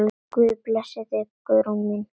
Guð blessi þig, Guðrún mín.